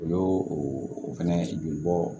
O y'o o fɛnɛ joli bɔ